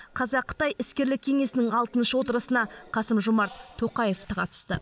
қазақ қытай іскерлік кеңесінің алтыншы отырысына қасым жомарт тоқаев та қатысты